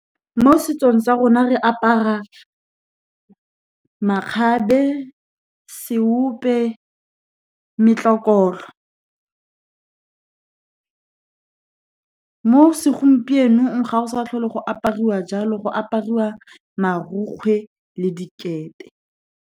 Mo setsong sa rona, re apara makgabe, seope, metlokotlo. Mo segompienong, ga go sa tlhole go apariwa jalo, go apariwa marokgwe le dikete.